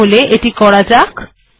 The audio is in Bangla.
তাহলে এটি করা যাক